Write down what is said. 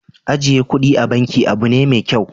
Ajiye kuɗi a banki abu ne mai kyau.